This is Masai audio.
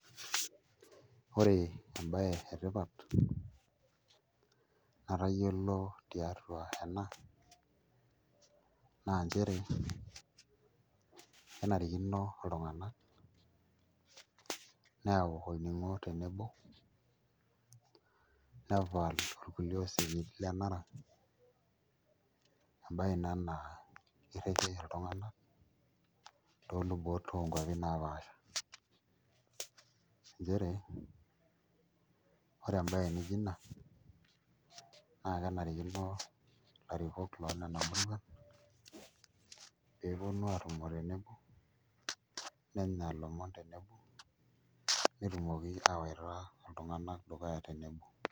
Ore embaye etipat natayiolo tiatu aena naa nchere kenarikino iltung'anak neyaau olning'o tenebo nepal kuliue osekin lenara embaye ina naa kirriki iltung'anak toolubot oonkuapi naapaasha nchere ore embaye nijio ina naa kenarikino ilarrikok loonena murruan pee eponu aatumo tenebo nenya ilomon tenebo netumoki aawaita iltung'anak dukuya tenebo.